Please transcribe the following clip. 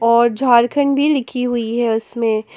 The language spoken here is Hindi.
और झारखंड भी लिखी हुई है उसमें--